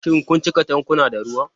Shin kun cika tankuna da ruwa?